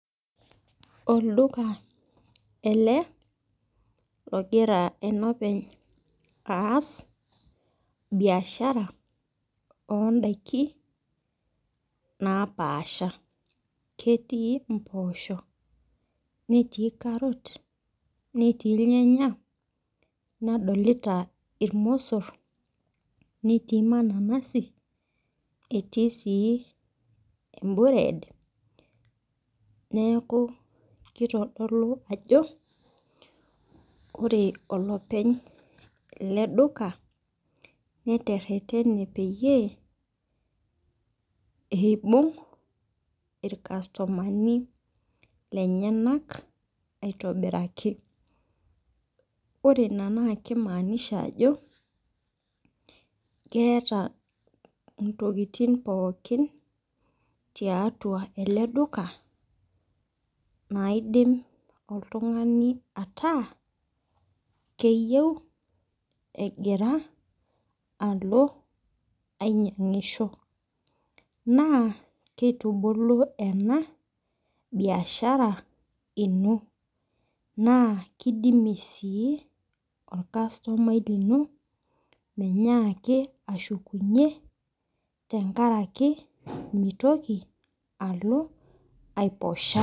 Olduka ele logira enopeny ass biashara oo idaikin napaasha. Ketii imposho neeti carrot neetii irnyanya nadolita irmosor neetii mananasi etii ebured neeku kitodolu ajo ore olepeny ele duka netererene peyie eibung' irkastomani lenyenak aitobiraki. Ore ina naa keimanisha ajo keeta intokitin pookin tiatua ele duka naidim oltung'ani ataa keyeu egira alo ainyangisho naa kitubuku ena biashara ino naa kidimi sii olkastomai lino menyaki ashukunye tenkaraki mitoki alo aiposha .